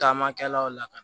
Taamakɛlaw la ka na